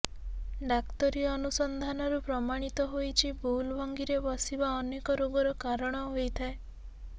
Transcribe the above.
ଡ଼ାକ୍ତରୀ ଅନୁସନ୍ଧାନରୁ ପ୍ରମାଣିତ ହୋଇଛି ଭୁଲ ଭଙ୍ଗୀରେ ବସିବା ଅନେକ ରୋଗର କାରଣ ହୋଇଥାଏ